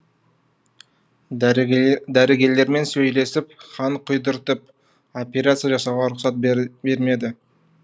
дәрігерлермен сөйлесіп қан құйдыртып операция жасауға рұқсат бермеді